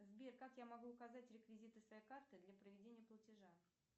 сбер как я могу указать реквизиты своей карты для проведения платежа